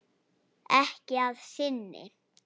Ekki að sinni.